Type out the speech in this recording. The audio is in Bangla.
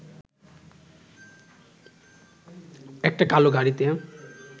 একটা কালো গাড়িতে